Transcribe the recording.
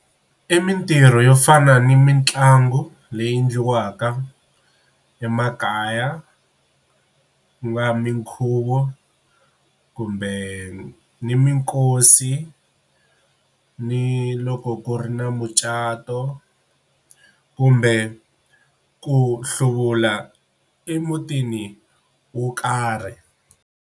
I mintirho yo fana ni mitlangu leyi endliwaka emakaya ku nga minkhuvo kumbe minkosi ni loko ku ri na mucato kumbe ku hluvula emutini wo karhi.